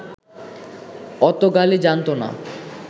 অত গালি জানতো না